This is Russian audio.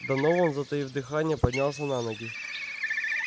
донован затаив дыхание поднялся на ноги